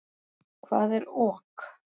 Hvað er ok?